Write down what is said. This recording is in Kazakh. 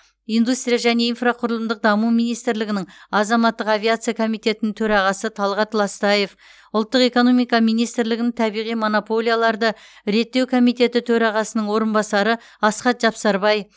индустрия және инфрақұрылымдық даму министрлігінің азаматтық авиация комитетінің төрағасы талғат ластаев ұлттық экономика министрлігінің табиғи монополияларды реттеу комитеті төрағасының орынбасары асхат жапсарбай